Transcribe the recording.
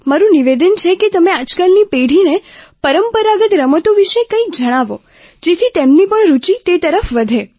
મારું નિવેદન છે કે તમે આજકાલની પેઢીને પરંપરાગત રમતો વિશે કંઈક જણાવો જેથી તેમની પણ રૂચિ તે તરફ વધે